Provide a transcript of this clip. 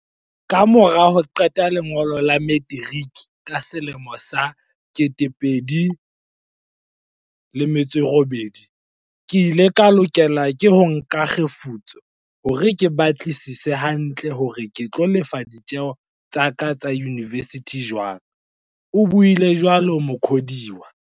"Ka mora ho qeta lengolo la metiriki ka selemo sa 2008, ke ile ka lokela ho nka kgefutso hore ke batlisise hantle hore ke tlo lefa ditjeo tsa ka tsa yunivesithi jwang," o buile jwalo Mukhodiwa.